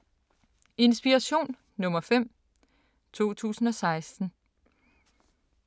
Inspiration nr. 5, 2016